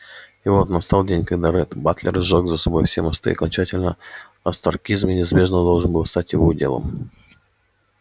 и вот настал день когда ретт батлер сжёг за собой все мосты и окончательно остракизм неизбежно должен был стать его уделом